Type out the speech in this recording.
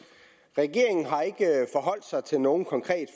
regeringen har ikke forholdt sig til noget konkret